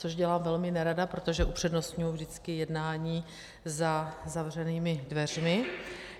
Což dělám velmi nerada, protože upřednostňuji vždycky jednání za zavřenými dveřmi.